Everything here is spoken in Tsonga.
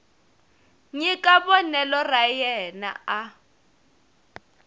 nyika vonelo ra yena a